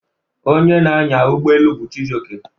Onye na-anya ụgbọ elu bu Chijioke.